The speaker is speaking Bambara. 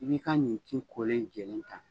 I b'i ka nin ci kolen in jɛlen ta.